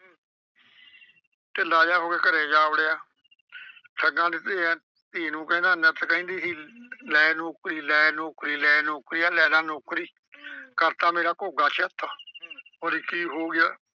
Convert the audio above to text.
ਢਿੱਲਾ ਜਿਹਾ ਹੋ ਕੇ ਘਰੇ ਜਾ ਵੜਿਆ ਠੱਗਾਂ ਦੀ ਧੀ ਅਹ ਕਹਿੰਦਾ ਨਿੱਤ ਕਹਿੰਦੀ ਸੀ ਲੈ ਨੌਕਰੀ ਲੈ ਨੌਕਰੀ ਲੈ ਨੌਕਰੀ ਆ ਲੈ ਲਾ ਨੌਕਰੀ। ਕਰਤਾ ਮੇਰਾ ਘੋਗਾ ਚਿੱਤ, ਆਂਹਦੀ ਕੀ ਹੋ ਗਿਆ?